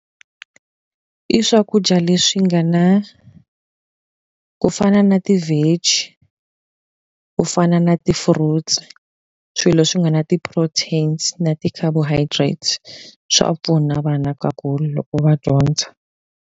I swakudya leswi nga na ku fana na ti-vege, ku fana na ti-fruits. Swilo leswi nga na ti-proteins na ti-carbohydrates, swa pfuna vana ka ku loko va dyondza.